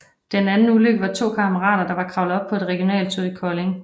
Den anden ulykke var to kammerater der var kravlet op på et regionaltog i Kolding